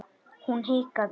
Hún hikaði.